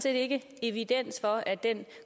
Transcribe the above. ikke er evidens for at den